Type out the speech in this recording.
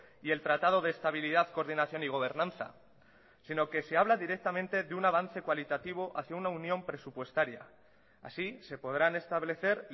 y el tratado de estabilidad coordinación y gobernanza sino que se habla directamente de un avance cualitativo hacia una unión presupuestaria así se podrán establecer